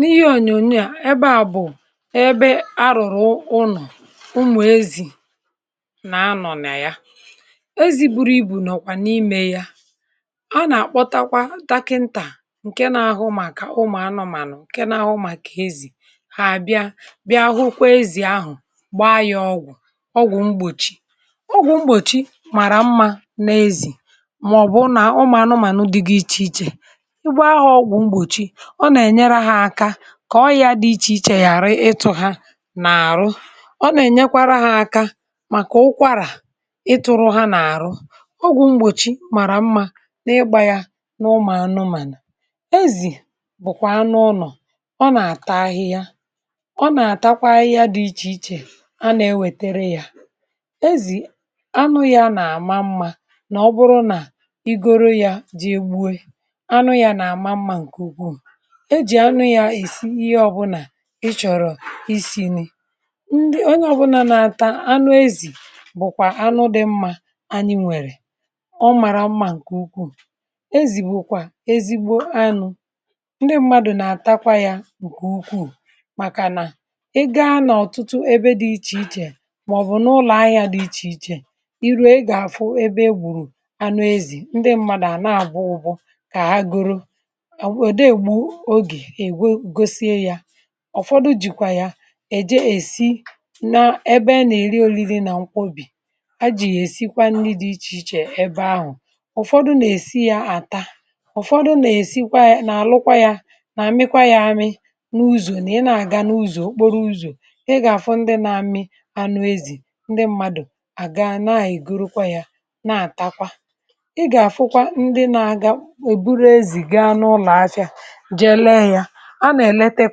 N’íhè onyònyò à, ebe à bụ̀ ebe a rùrụ̀ ụnọ̀ ụmụ̀ ezì nà-anọ̀ nà ya. Ezì buru ibu nọ̀kwà n’ímè ya. A nà-àkpọtakwa dakịntà, nke nà-ahụ maka ụmụ̀ anọ̀ mà-anọ̀, nke nà-ahụkwa maka ezì hà. Bịa hụ ezì ahụ̀, gbaa ya ọgwụ̀. Ọgwụ̀ mgbòchi bụ.... ọgwụ̀ mgbòchi màrà mma n’ezì màọ̀bụ̀ ụmụ̀ anụmànụ dị iche iche. Igbe ahụ̀ ọgwụ̀ mgbòchi kà ọrịà dị iche iche gà-àrụ, ịtụ̀ ha nà-àrụ. Ọ nà-ènyekwara ha aka màkà ụkwarà. Ịtụ̀rụ ha nà-àrụ ọgwụ̀ mgbòchi màrà mma... n’ígbà yà n’ụmụ̀ anụmànà. Ezì bụ̀kwà anụ ọlọ̀. Ọ nà-atahị ya, ọ nà-àtakwa ahịa dị iche iche.... A nà-ewètere yà ezì anụ, yà nà-àma mma. Ọbụrụ nà igoro yà ji egbue, anụ yà nà-àma mma nke ukwuù. Ị chọ̀rọ̀ isi um nri, onye ọbụna nà-ata anụ ezì. Ezì bụ̀kwà anụ dị mma ànyị nwèrè. Ọ màrà mma nke ukwuù. Ezì bụ̀ ezigbo anụ̇. Ndị mmadụ nà-àtakwa yà nke ukwuù. Màkànà e gà-àga n’ọ̀tụtụ ebe dị iche iche, màọ̀bụ̀ n’ụlọ̀ ahịa dị iche iche. Ị rú e gà-àfụ ebe gbùrù anụ ezì. Ndị mmadụ àna-àbụghụgbụ kà agụụ̀rụ̀. um Ụ́fọdụ jìkwà ya èje èri... olili nà nkwòbí. A jì yà èsikwa nri dị iche iche ebe ahụ̀. Ụ́fọdụ nà-èsi ya, àta; Ụ́fọdụ nà-èsikwa, nà-àlụkwa ya, nà-àmịkwa ya amị n’ụ̀zụ̀. Nà ị nà-àga n’ụ̀zụ̀ okporo ụ̀zụ̀, ị gà-àfụ ndị nà-amị anụ ezì. Ndị um mmadụ̀ àga, nà-ègurukwa ya, nà-àtakwa. Ị gà-àfụkwa ndị... nà-aga, èburu ezì gaa n’ụlọ̀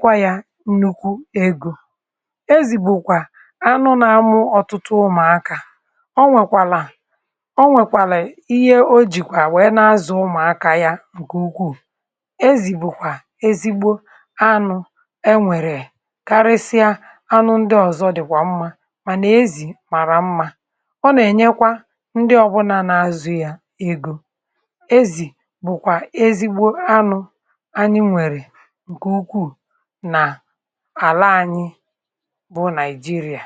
ahịa. Nùkwu egò ezì bụ̀kwà nnukwu ihe. Ezì bụ̀ anụ nà-amụ ọ̀tụtụ ụmụ̀. Akà o nwèrè, o nwèrè ihe o jìkwà, wèe nà-azụ̀ ụmụ̀ akà yà um nke ukwuù. Ezì bụ̀kwà ezigbo anụ̇, enwerè karịsịa anụ ndị ọ̀zọ, dị̀kwà mma..... Mànà ezì màrà mma. Ọ nà-ènyekwa ndị ọbụna nà-azụ̀ yà egò. Ezì bụ̀kwà ezigbo anụ̇ n’àla anyị, um Naịjírịa.